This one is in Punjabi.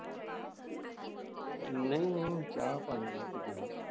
ਨਹੀਂ ਉਹਨੂੰ ਚਾਹ ਪਾਣੀ ਮੈ ਪੁੱਛਦਾ।